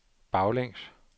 baglæns